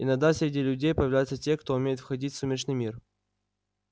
иногда среди людей появляются те кто умеет входить в сумеречный мир